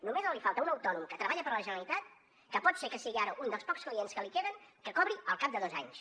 només li falta a un autònom que treballa per a la generalitat que pot ser que sigui ara un dels pocs clients que li queden que cobri al cap de dos anys